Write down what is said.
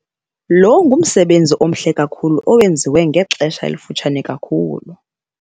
Lo ngumsebenzi omhle kakhulu owenziwa ngexesha elifutshane kakhulu.